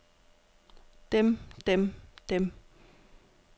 dem dem dem